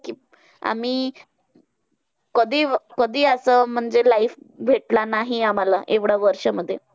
कि आमी कधी कधी असं म्हणजे life भेटला नाही आम्हांला एवढं वर्षमध्ये.